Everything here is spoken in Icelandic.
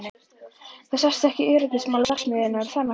Þú sást ekki um öryggismál verksmiðjunnar, er það nokkuð?